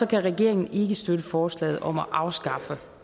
kan regeringen ikke støtte forslaget om at afskaffe